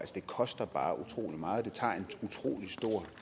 det koster bare utrolig meget det tager